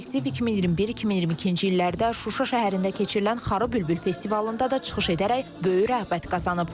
Kollektiv 2021-2022-ci illərdə Şuşa şəhərində keçirilən Xarıbülbül festivalında da çıxış edərək böyük rəğbət qazanıb.